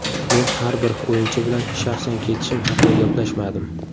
Men har bir o‘yinchi bilan shaxsan ketishim haqida gaplashmadim.